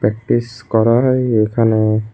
Practice করা হয় এইখানে।